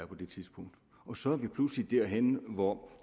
på det tidspunkt og så er vi pludselig derhenne hvor